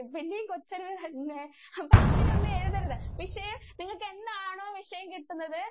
അപ്പോ അങ്ങനെ ഒന്നും എഴുതരുത്. പക്ഷേ നിങ്ങക്ക് എന്താണോ വിഷയം കിട്ടുന്നത്